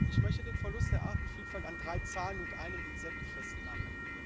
Ich möchte den Verlust der Artenvielfalt an drei Zahlen und einem Insekt festmachen.